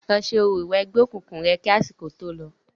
Lọ ṣe orò ìwẹgbẹ́ òkùnkùn rẹ̀ kí àsìkò tó lọ.